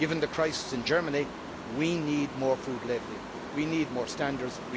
Given the crisis in Germany, we need more food labelling, we need more standards